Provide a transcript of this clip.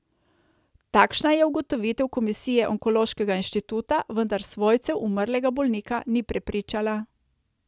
Takšna je ugotovitev komisije Onkološkega inštituta, vendar svojcev umrlega bolnika ni prepričala.